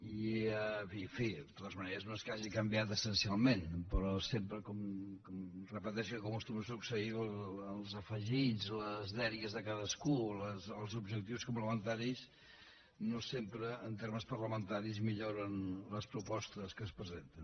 i en fi de totes maneres no és que hagi canviat essencialment però sempre com repeteixo i com acostuma a succeir els afegits les dèries de cadascú els objectius complementaris no sempre en termes parlamentaris milloren les propostes que es presenten